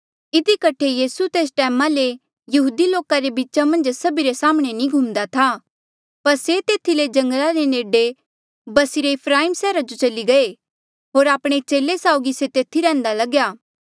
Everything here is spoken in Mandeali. इधी कठे यीसू तेस टैमा ले यहूदी लोका रे बीचा मन्झ सभिरे साम्हणें नी घुमदा था पर से तेथी ले जंगला रे नेडे बस्सी रे ईफ्राइम सैहरा जो चली गये होर आपणे चेले साउगी से तेथी रैहंदा लग्या